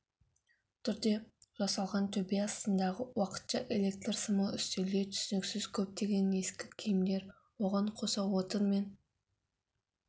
түрде жасалған төбе астындағы уақытша электр сымы үстелде түсініксіз көптеген ескі киімдер оған қоса отынмен